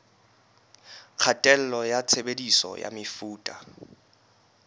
kgatello ya tshebediso ya mefuta